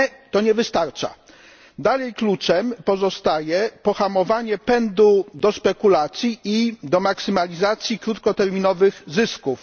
Nie, to nie wystarcza. Dalej kluczem pozostaje pohamowanie pędu do spekulacji i do maksymalizacji krótkoterminowych zysków.